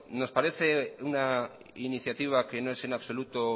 nos parece una iniciativa que no es en absoluta